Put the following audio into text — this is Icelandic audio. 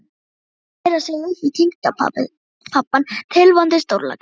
Eða að viðra sig upp við tengdapabbann tilvonandi, stórlaxinn.